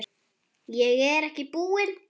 Ég er ekki búinn.